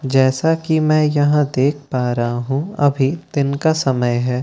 जैसा की मैं यहाँ देख पा रहा हूँ अभी दिन का समय है और--